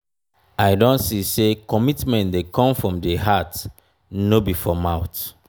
i don see say commitment dey come from di heart no be for mouth.